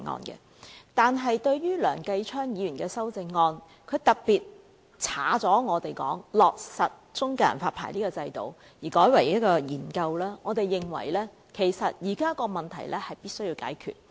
不過，對於梁繼昌議員的修正案，特別是刪去議案中"落實"中介人發牌的制度而改為"研究"，我們認為現時的問題是必須解決的。